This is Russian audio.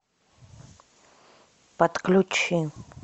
подключи